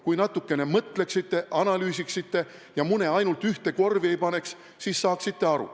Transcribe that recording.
Kui natukene mõtleksite, analüüsiksite ja mune ainult ühte korvi ei paneks, siis saaksite aru.